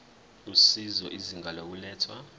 usizo izinga lokulethwa